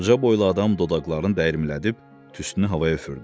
Ucaboylu adam dodaqlarını dəyirmilədib tüstünü havaya üfürdü.